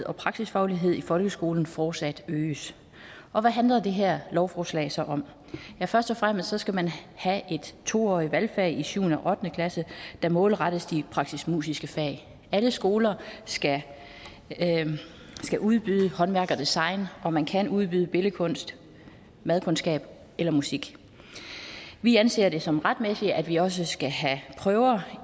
og praksisfaglighed i folkeskolen fortsat øges og hvad handler det her lovforslag så om først og fremmest skal man have et to årig t valgfag i syvende og ottende klasse der målrettes de praktisk musiske fag alle skoler skal udbyde håndværk og design og man kan udvide med billedkunst madkundskab eller musik vi anser det som retmæssigt at vi også skal have prøver